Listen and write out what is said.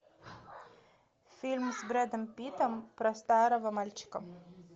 фильм с брэдом питтом про старого мальчика